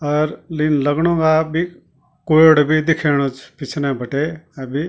अर लिन लगणु वा अब्बी कोयड़ो बि दिखेणु च पिछनै बटे अबि।